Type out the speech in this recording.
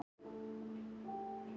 Þetta liggur ekkert ljóst fyrir.